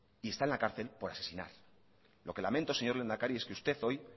y está en la cárcel por asesinar lo que lamento señor lehendakari es que usted hoy